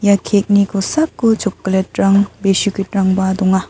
ia kek ni kosako chokolet rang biskit rangba donga.